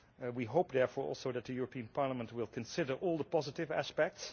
We hope, therefore, also, that the European Parliament will consider all the positive aspects.